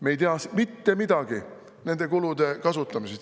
Me ei tea mitte midagi nende kulude kohta.